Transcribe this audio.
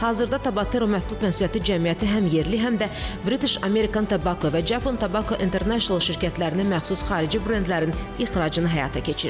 Hazırda Tabatera məhdud məsuliyyətli cəmiyyəti həm yerli, həm də British American Tobacco və Japan Tobacco International şirkətlərinə məxsus xarici brendlərin ixracını həyata keçirir.